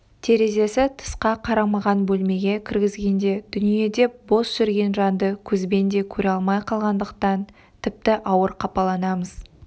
терезесі тысқа қарамаған бөлмеге кіргізгенде дүниеде бос жүрген жанды көзбен де көре алмай қалғандықтан тіпті ауыр қапаланамыз